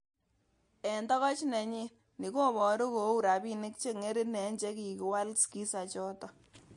En tokoch nenyin, ni koboru koun rabinik che ngerin en chekikwal skiza choton.